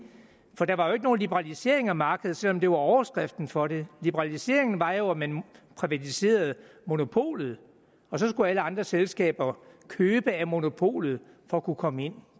for der var jo ikke nogen liberalisering af markedet selv om det var overskriften for det liberaliseringen var jo at man privatiserede monopolet og så skulle alle andre selskaber købe af monopolet for at kunne komme ind